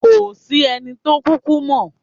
Kò sí ẹni tó kúkú mọ̀.